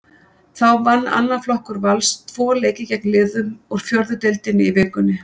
Þá vann annar flokkur Vals tvo leiki gegn liðum úr fjórðu deildinni í vikunni.